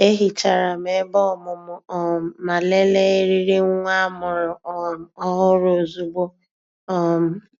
E hicharam ebe ọmụmụ um ma lelee eriri nwa amụrụ um ọhụrụ ozugbo. um